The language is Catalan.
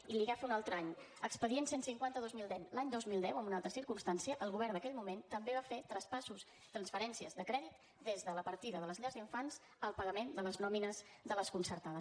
i li agafo un altre any expedient cent i cinquanta dos mil deu l’any dos mil deu en una altra circumstància el govern d’aquell moment també va fer traspassos transferències de crèdit des de la partida de les llars d’infants al pagament de les nòmines de les concertades